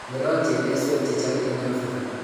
kirotchi emeswek chechang eng' Afrika